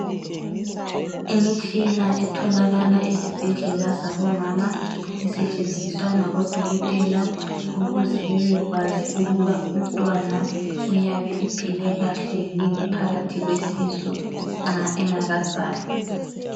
Imitshina etholakala esibhedlela sabomama esetshenziswa ngabodokotela ukuze bebekwazi ukuba umntwana uyabe ephile kahle yini phakathi kwesisu nxa engakazalwa.